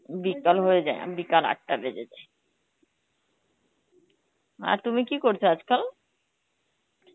বিকাল হয়ে যায়, আঁ বিকাল আটটা বেজে যায়. আর তুমি কী করছো আজকাল?